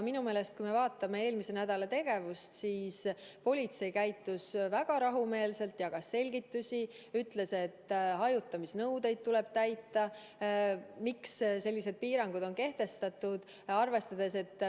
Kui me vaatame eelmise nädala tegevust, siis politsei käitus väga rahumeelselt, jagas selgitusi, et hajutamisnõudeid tuleb täita ja miks sellised piirangud on kehtestatud.